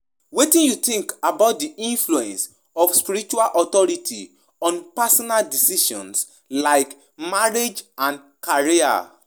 Spiritual leaders um get big role to play um in shaping our decisions, um but we go use our own judgment and discernment.